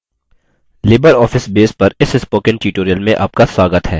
libreoffice base पर इस spoken tutorial में आपका स्वागत है